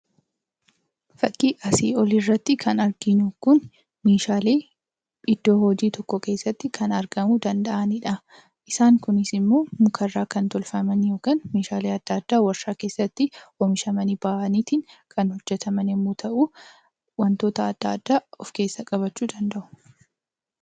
Fakkii asii olii irratti kan arginu kun meeshaalee iddoo hojii tokko keessatti kan argamuu danda'anidha. Isaan kunis immoo mukarraa kan tolfaman yookaan meeshaale adda addaa waarshaa keessatti oomishamanii bahaniiti kan hojjetaman yommuu ta'u, wantoota adda addaa of keessatti qabachuu danda'u.